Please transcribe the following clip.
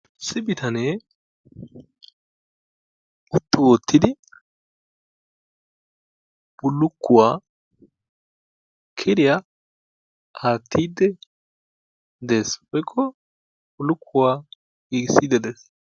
Ossi bitanee huttu oottidi bullukkuwaa kiriyaa aattide dees woykko bullukkuwaa giigisiidi dees.